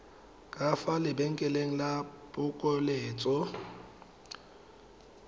ka fa lebenkeleng la phokoletso